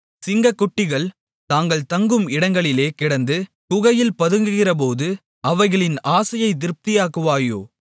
சிங்கக்குட்டிகள் தாங்கள் தங்கும் இடங்களிலே கிடந்து குகையில் பதுங்கியிருக்கிறபோது அவைகளின் ஆசையைத் திருப்தியாக்குவாயோ